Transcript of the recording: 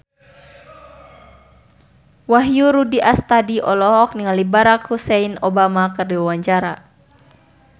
Wahyu Rudi Astadi olohok ningali Barack Hussein Obama keur diwawancara